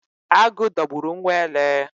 Agụ dogburu nwa ele